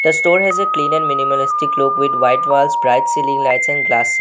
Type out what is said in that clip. the store has a clean and minimalistic look with white walls bright ceiling lights and glass s--